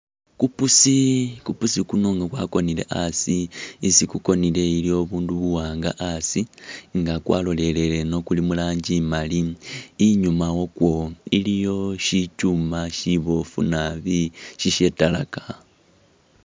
Ku pusi, kupusi kuno nga kwakonele asi, isi kukonele waliwo ubundu buwanga asi, nga kwalolelele ino kuli mu rangi imali, inyuma wakwo iliyo shikyuma shibofu nabi shishatalaka.